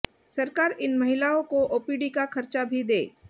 सरकार इन महिलाओं को ओपीडी का खर्चा भी दे